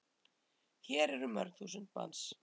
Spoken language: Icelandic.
Hér eru mörg þúsund manns.